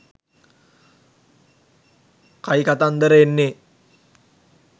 කයිකතන්දර එන්නේ